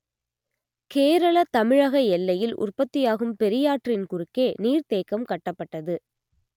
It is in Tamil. கேரள தமிழக எல்லையில் உற்பத்தியாகும் பெரியாற்றின் குறுக்கே நீர்த்தேக்கம் கட்டப்பட்டது